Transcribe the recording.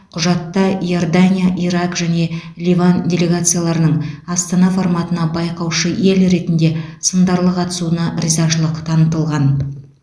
құжатта иордания ирак және ливан делегацияларының астана форматына байқаушы ел ретінде сындарлы қатысуына ризашылық танытылған